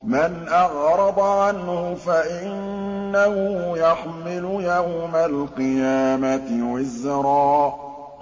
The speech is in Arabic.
مَّنْ أَعْرَضَ عَنْهُ فَإِنَّهُ يَحْمِلُ يَوْمَ الْقِيَامَةِ وِزْرًا